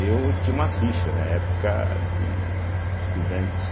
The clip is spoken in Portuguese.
Eu tinha uma ficha na época de estudante.